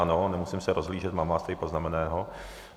Ano, nemusím se rozhlížet, mám vás tady poznamenaného.